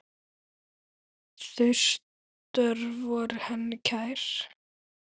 Þau störf voru henni kær.